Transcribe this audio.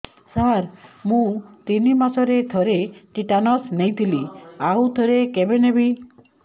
ସାର ମୁଁ ତିନି ମାସରେ ଥରେ ଟିଟାନସ ନେଇଥିଲି ଆଉ ଥରେ କେବେ ନେବି